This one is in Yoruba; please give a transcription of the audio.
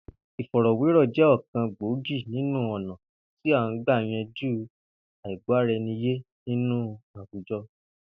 Ìfò̩rò̩wérò̩ jé̩ ò̩kan gbòógì nínú ò̩nà tí à ń gbà yanjú àìgbó̩-ara-e̩ni yé nínú àwùjo̩